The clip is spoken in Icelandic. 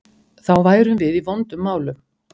Þá værum við í vondum málum.